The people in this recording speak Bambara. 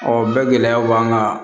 Ɔ bɛɛ gɛlɛyaw b'an kan